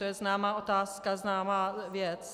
To je známá otázka, známá věc.